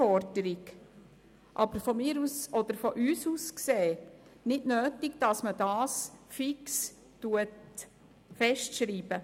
Aus unserer Sicht ist es aber nicht nötig, das fix festzuschreiben.